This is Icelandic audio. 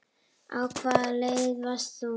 Á hvaða leið varst þú?